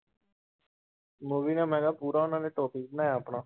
Movie ਨੇ ਮੈਂ ਕਿਹਾ ਪੂਰਾ ਉਹਨਾਂ ਨੇ topic ਬਣਾਇਆ ਆਪਣਾ